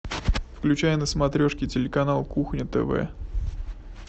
включай на смотрешке телеканал кухня тв